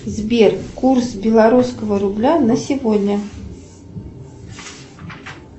сбер курс белорусского рубля на сегодня